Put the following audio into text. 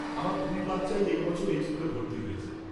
আমার দুই বাচ্চাই এই বছর এই স্কুলে ভর্তি হয়েছে।